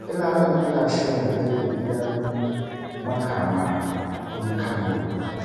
Ina nan ina shirin kai ku gidan makama ku yi kallo